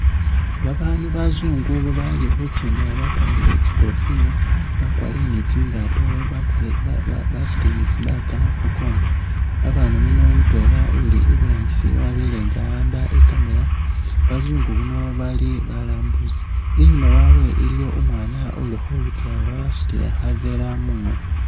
Babaandu bazungu bali khukenda bakwarire tsikofila bakwarire ni tsingaato, bakwari ba ba basutile ni tsi bag khu kongo. Babaandu bano mutwela uli iburangisi wabele nga a'amba i'camera, bazungu bano bali balambusi, inyuuma wabwe iliwo umwaana ukhotsa wasutile khaveera mungono.